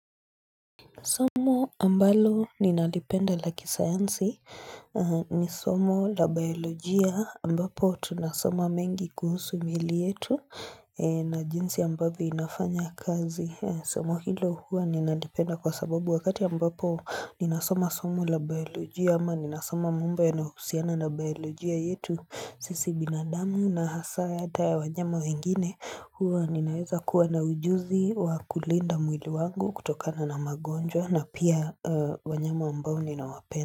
Somo ambalo ninalipenda la kisayansi ni somo la biologia ambapo tunasoma mengi kuhusu mili yetu na jinsi ambavyo inafanya kazi. Somo hilo huwa ninalipenda kwa sababu wakati ambapo ni nasoma somo la biolojia ama ninasoma mambo yanayo husiana na biolojia yetu sisi binadamu na hasa ata ya wanyama wengine huwa ninaweza kuwa na ujuzi wa kulinda mwili wangu kutokana na magonjwa na pia wanyama ambao ninawapenda.